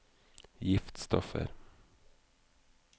giftstoffer